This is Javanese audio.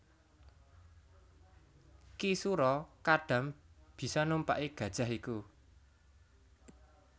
Ki Sura Kadam bisa numpaki gajah iku